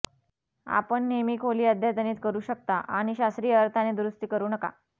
आपण नेहमी खोली अद्यतनित करू शकता आणि शास्त्रीय अर्थाने दुरूस्ती करू नका